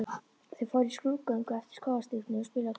Þau fóru í skrúðgöngu eftir skógarstígnum og spiluðu á trommur.